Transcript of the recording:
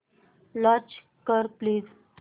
launch कर please